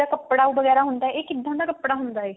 ਕੱਪੜਾ ਵਗੇਰਾ ਹੁੰਦਾ ਇਹ ਇਹ ਕਿੱਦਾਂ ਡ ਕੱਪੜਾ ਹੁੰਦਾ ਹੈ